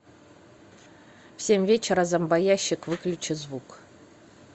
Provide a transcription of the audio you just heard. в семь вечера зомбоящик выключи звук